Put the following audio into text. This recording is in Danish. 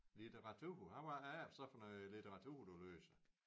Litteratur og hvad er det så for noget litteratur du læser